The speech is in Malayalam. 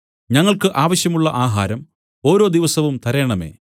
ഞങ്ങൾക്കു ആവശ്യമുള്ള ആഹാരം ഓരോ ദിവസവും തരേണമേ